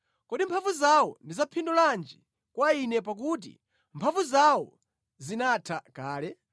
Kodi mphamvu zawo ndi za phindu lanji kwa ine, pakuti mphamvu zawo zinatha kale?